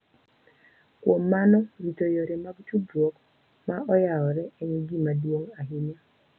Kuom mano, rito yore mag tudruok ma oyawore en gima duong’ ahinya